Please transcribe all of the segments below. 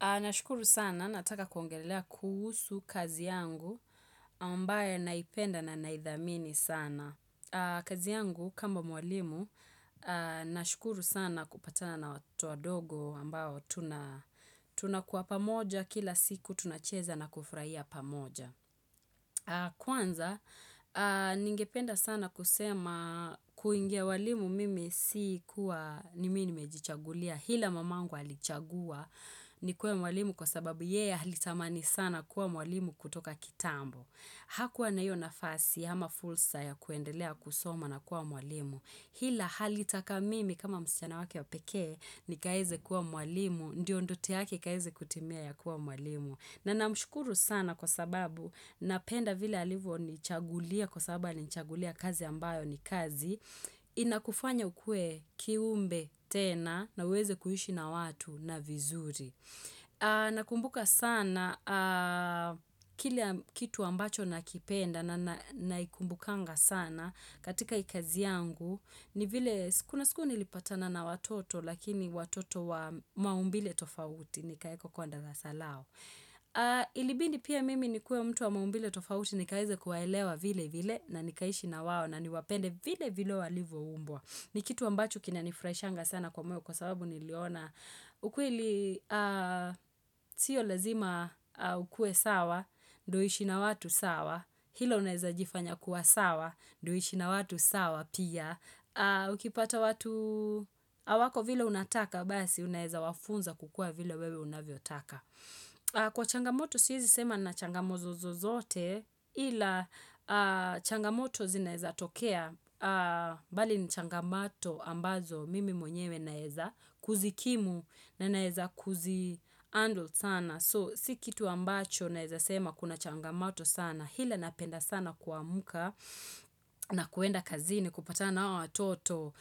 Nashukuru sana, nataka kuongelelea kuhusu kazi yangu, ambayo naipenda na naidhamini sana. Kazi yangu kama mwalimu, nashukuru sana kupatana na watoto wadogo ambao tuna tunakuwa pamoja kila siku tunacheza na kufurahia pamoja. Kwanza, ningependa sana kusema, kuingia ualimu mimi sikuwa ni mi nimejichagulia. Hila mamangu alichagua nikuwe mwalimu kwa sababu yeya alitamani sana kuwa mwalimu kutoka kitambo. Hakuwa na hiyo nafasi hama fulsa ya kuendelea kusoma na kuwa mwalimu. Hila halitaka mimi kama msichana wake ya pekee nikaeze kuwa mwalimu. Ndiyo ndote yake ikaeze kutimia ya kuwa mwalimu. Na namshukuru sana kwa sababu napenda vile alivyonichagulia kwa sababu alinichagulia kazi ambayo ni kazi. Inakufanya ukue kiumbe tena na uweze kuhishi na watu na vizuri. Nakumbuka sana kile kitu ambacho nakipenda na naikumbukanga sana katika hii kazi yangu. Ni vile, kuna siku nilipatana na watoto lakini watoto wa maumbile tofauti. Nikaekwa kwa darasa lao. Ilibidi pia mimi nikuwe mtu wa maumbile tofauti nikaweze kuewaelewa vilevil. Na wao na niwapende vile vile walivyoumbwa. Ni kitu ambachuo kinanifurahishanga sana kwa kwa sababu niliona. Ukweli, sio lazima ukue sawa ndio uishi na watu sawa. Hilo naweza jifanya kuwa sawa, ndo uishi na watu sawa pia. Ukipata watu awako vile unataka basi unaeza wafunza kukua vile wewe unavyotaka. Kwa changamoto siezi sema nina changamozozo zote. Ila changamoto zineza tokea, bali ni changamato ambazo mimi mwenyewe naeza kuzikimu na naeza kuzi handle sana. So, si kitu ambacho naeza sema kuna changamato sana. Hila napenda sana kuamka na kuenda kazini kupata na hao watoto.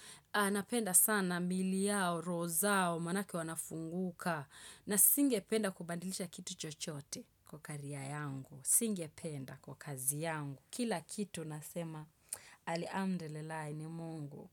Napenda sana miili yao, roho zao, manake wanafunguka. Na singependa kubadilisha kitu chochote kwa Career yangu. Singependa. Kwa kazi yangu. Kila kitu nasema al amdullilahi, ni mungu.